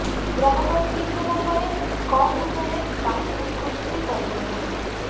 ଗ୍ରାହକ ଠିକ୍ ହେବା ପରେ କମ୍ ମୂଲ୍ୟରେ ବାଇକ୍ଗୁଡ଼ିକୁ ବିକ୍ରି କରି ଦିଅନ୍ତି